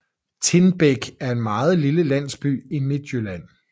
Tindbæk er en meget lille landsby i Midtjylland